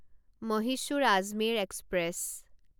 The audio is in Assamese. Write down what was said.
মহীশূৰ আজমেৰ এক্সপ্ৰেছ